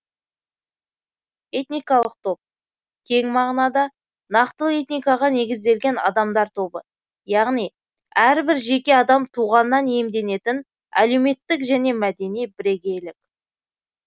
этникалық топ кең мағынада нақтылы этникаға негізделген адамдар тобы яғни әрбір жеке адам туғаннан иемденетін әлеуметтік және мәдени бірегейлік